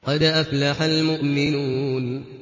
قَدْ أَفْلَحَ الْمُؤْمِنُونَ